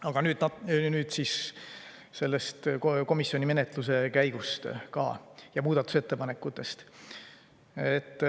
Aga nüüd sellest komisjoni menetluse käigust ja muudatusettepanekutest.